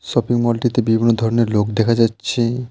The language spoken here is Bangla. শপিং মলটিতে বিভিন্ন ধরনের লোক দেখা যাচ্ছে।